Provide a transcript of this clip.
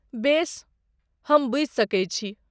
बेस, हम बुझि सकैत छी।